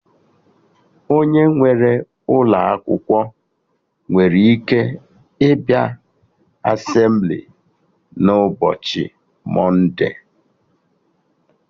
Onye nwere ụlọ akwụkwọ nwere ike ịbịa Asemblịes n'ụbọchị mọnde